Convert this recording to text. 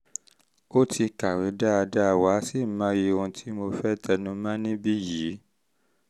o ti um kàwé dáadáa wà á sì mọyì ohun um tí mo fẹ́ tẹnu mọ́ níbí yìí